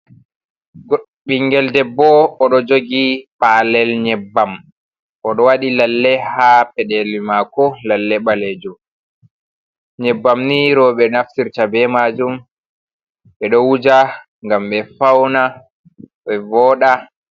Ɓinngel debbo o ɗo jogi paalel nyebbam o ɗo waɗi lalle haa peɗeeli maako lalle baleejum, nyebbam ni roobe naftirta bee maajum ɓe ɗo wuja ngam ɓe fawna ɓe vooɗa.